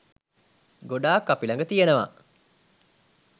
ගොඩාක් අපි ළඟ තියෙනවා.